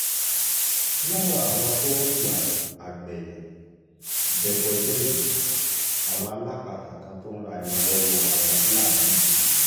lára àwọn tó ń hùwà agbẹ̀yìn-bẹbọjẹ́ yìí àwọn alápatà kan tó ń ra ẹran lọ́wọ́ àwọn fúlàní yìí ni